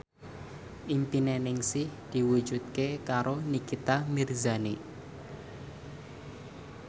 impine Ningsih diwujudke karo Nikita Mirzani